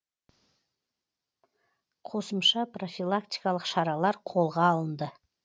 қосымша профилактикалық шаралар қолға алынды